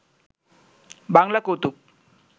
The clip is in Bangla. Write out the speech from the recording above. বাংলা কৌতুক